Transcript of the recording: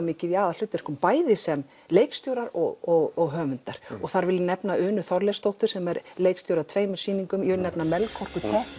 mikið í aðalhlutverkum bæði sem leikstjórar og höfundar og þar vil ég nefna Unu Þorleifsdóttur sem er leikstjóri tveggja sýninga og ég vil nefna Melkorku